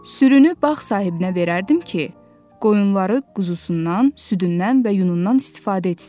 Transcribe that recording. Sürünü bağ sahibinə verərdim ki, qoyunları quzusundan, südündən və yunundan istifadə etsin.